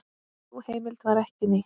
Sú heimild var ekki nýtt.